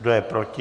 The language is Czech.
Kdo je proti?